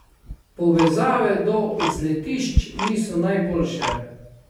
Povezave do vzletišč niso najboljše.